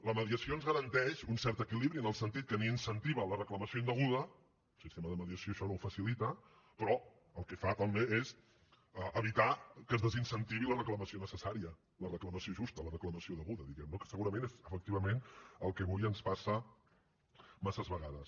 la mediació ens garanteix un cert equilibri en el sentit que ni incentiva la reclamació indeguda el sistema de mediació això no ho facilita però el que fa també és evitar que es desincentivi la reclamació necessària la reclamació justa la reclamació deguda diguem ne que segurament és efectivament el que avui ens passa massa vegades